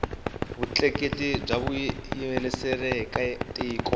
vutleketli bya vuyerisaeka tiko